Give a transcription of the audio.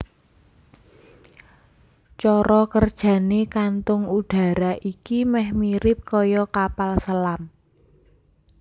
Cara kerjané kantung udara iki meh mirip kaya kapal selam